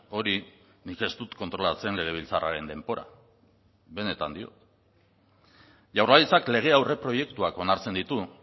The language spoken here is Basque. hori nik ez dut kontrolatzen legebiltzarraren denbora benetan diot jaurlaritzak lege aurreproiektuak onartzen ditu